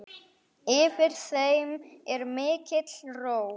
Yfir þeim er mikil ró.